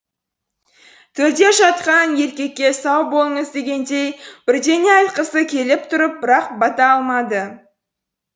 төрде жатқан еркекке сау болыңыз дегендей бірдене айтқысы келіп тұрып бірақ бата алмады